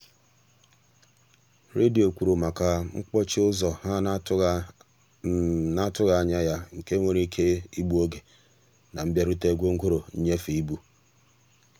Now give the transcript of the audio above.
redio kwuru maka mkpọchi ụzọ ha n'atụghị n'atụghị anya ya nke nwere ike igbu oge na mbịarute gwongworo nnyefe ịbụ.